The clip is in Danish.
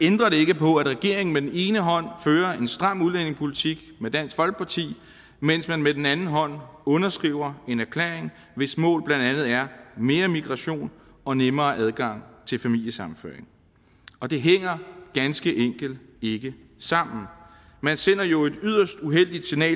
ændrer det ikke på at regeringen med den ene hånd fører en stram udlændingepolitik med dansk folkeparti mens man med den anden hånd underskriver en erklæring hvis mål blandt andet er mere migration og nemmere adgang til familiesammenføring og det hænger ganske enkelt ikke sammen men sender jo et yderst uheldigt signal